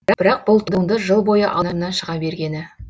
бірақ бұл туынды жыл бойы алдымнан шыға бергені